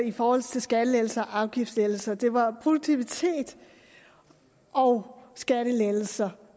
i forhold til skattelettelser afgiftslettelser det var produktivitet og skattelettelser